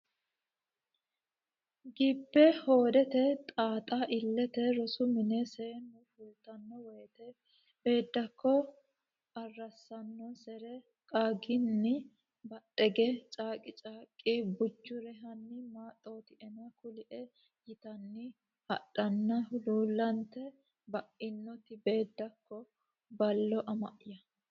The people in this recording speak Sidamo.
gibbe hoodete xaxxa lite Rosu mine seennu fultanno woyte Beeddakko arrassannosere qaagganni badheegge caaqqi caaqqi Bujjuure Hanni maaxxootina kulie yitanni hadhanni Huluullante ba inoti Beeddakko Ballo ama ya !